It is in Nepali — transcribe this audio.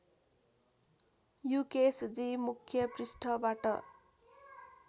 युकेसजी मुख्य पृष्ठबाट